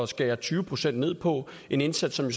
skære tyve procent ned på en indsats som